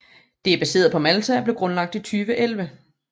Det er baseret på Malta og blev grundlagt i 2011